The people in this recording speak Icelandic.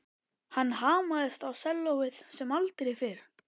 Hann hamaðist á sellóið sem aldrei fyrr.